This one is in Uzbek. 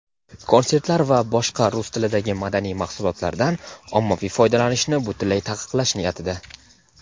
konsertlar va boshqa "rus tilidagi madaniy mahsulotlar"dan ommaviy foydalanishni butunlay taqiqlash niyatida.